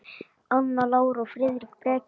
Anna Lára og Friðrik Breki.